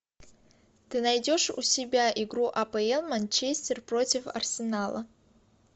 ты найдешь у себя игру апл манчестер против арсенала